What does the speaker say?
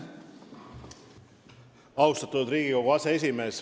Austatud Riigikogu aseesimees!